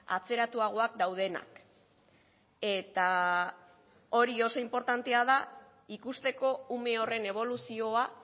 atzeratuagoak daudenak eta hori oso inportantea da ikusteko ume horren eboluzioa